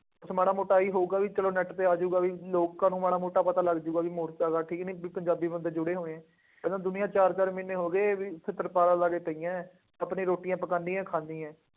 ਉਹ ਤਾਂ ਮਾੜ੍ਹਾ ਮੋਟਾ ਆਹੀ ਹੋਊਗਾ ਬਈ ਚੱਲੋ ਨੈੱਟ ਤੇ ਆ ਜਾਊਗਾ ਬਈ ਲੋਕਾਂ ਨੂੰ ਮਾੜ੍ਹਾ ਮੋਟਾ ਪਤਾ ਲੱਗ ਜਾਊਗਾ, ਬਈ ਮੋਰਚਾ ਇਕੱਠ ਕਿਹਨੇ ਕੀਤਾ, ਪੰਜਾਬੀ ਬੰਦੇ ਜੁੜੇ ਹੋਏ ਹੈ। ਕਹਿੰਦਾ ਦੁਨੀਆਂ ਚਾਰ ਚਾਰ ਮਹੀਨੇ ਹੋ ਗਏ, ਇੱਥੇ ਸਰਕਾਰਾਂ ਆ ਕੇ ਪਈਆਂ, ਆਪਣੀ ਰੋਟੀ ਪਕਾਉਂਦੀਆਂ, ਖਾਂਦੀਆਂ ਹੈ।